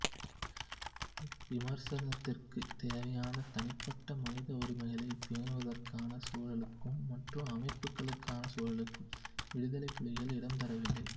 விமர்சனத்திற்கு தேவையான தனிப்பட்ட மனித உரிமைகளை பேணுவதற்கான சூழலுக்கும் மாற்று அமைப்புக்களுக்கான சூழலுக்கும் விடுதலைப் புலிகள் இடம்தரவில்லை